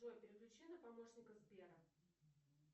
джой переключи на помощника сбера